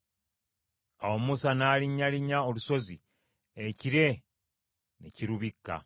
Awo Musa n’alinnyalinnya olusozi, ekire ne kirubikka.